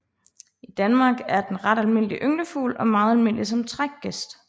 I Danmark er den en ret almindelig ynglefugl og meget almindelig som trækgæst